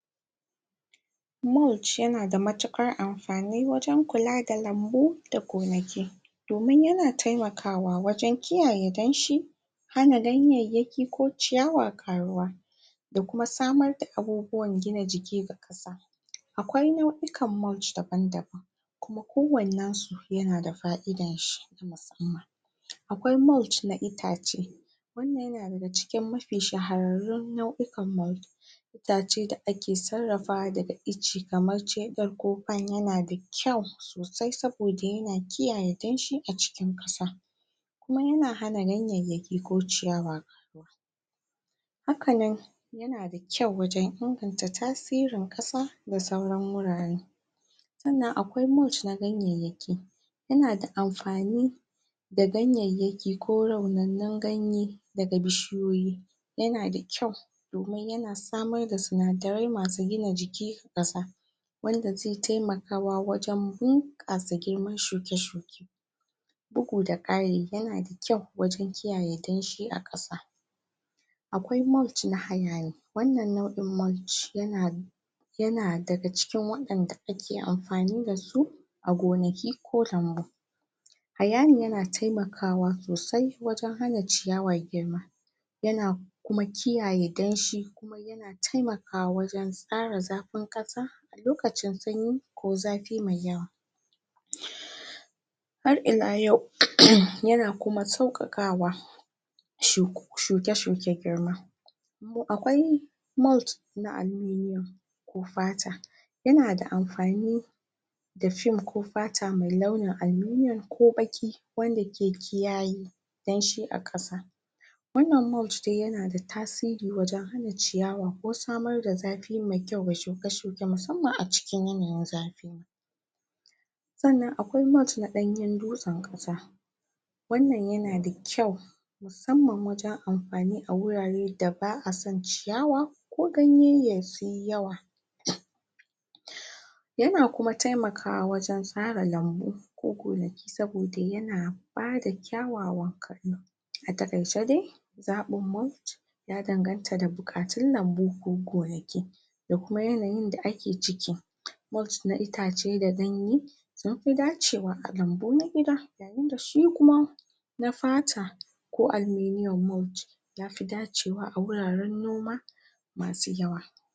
mulch yana da matuƙar amfani wajen kula da lambu da gonaki domin yana temakawa wajen kiyaye danshi hana ganyayyaki ko ciyawa ƙaruwa da kuma sabar da abubuwan gina jiki ga ƙasa akwai nau'ikan mulch daban-daban kuma kowannen su yana da fa'idan shi na musamman akwai mulch na itace wannan yana daga cikin mafi shahararrun nau'ukan mulch itace da ake sarrafawa daga icce kamar yana da kyau sosai saboda yana kiyaye danshi a cikin ƙasa kuma yana hana ganyayyaki ko ciyawa ƙaruwa haka nan yana da kyau wajen inganta tasirin ƙasa da sauran wurare sannan akwai mulch na ganyayyaki yana da amfani da ganyayyaki ko raunannun ganye daga bishiyoyi yana da kyau kuma yana samar da sinadarai masu gina jiki da ƙasa wanda ze temakawa wajen bunƙasa girman shuke-shuke bugu da ƙari yana da kyau wajen kiyaye danshi a ƙasa akwai mulch na wannan nau'in mulch yana yana daga cikin waɗanda ake amfani da su a gonaki ko lambu hayami yana temakawa sosai wajen hana ciyawa girma yana kuma kiyaye danshi yana temakawa wajen tsara zafin ƙasa a lokacin sanyi ko zafi me yawa har ila yau, yana kuma sauƙaƙawa shuke-shuke girma kuma akwai mulch na aluminium ko fata yana da amfani da film ko fata me launin aluminium ko baƙi wanda ke kiyaye danshi a ƙasa wannan mulch dai yana da tasiri wajen hana ciyawa ko samar da zafi me kyau ga shuke-shuke musamman a cikin yanayin zafi sannan akwai mulch na ɗanyen dutsen ƙasa wannan yana da kyau musamman wajen amfani a wurare da ba'a son ciyawa ko ganyayyaki suyi yawa yana kuma temakawa wajen tsara lambu ko gonaki saboda yana bada kyawawan a taƙaice dai zaɓin mulch ya danganta da buƙatun lambu ko gonaki da kuma yanayin da ake ciki mulch na itace da ganye sun fi dacewa a lambu na gida wanda su kuma na fata ko aluminium mulch ya fi dacewa a wuraren noma masu yawa